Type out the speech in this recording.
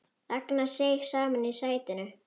Ragnar seig saman í sætinu.